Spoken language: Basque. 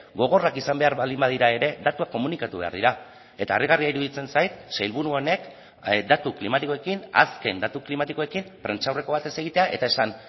gogorrak izan behar baldin badira ere datuak komunikatu behar dira eta harrigarria iruditzen zait sailburu honek datu klimatikoekin azken datu klimatikoekin prentsaurreko bat ez egitea eta esan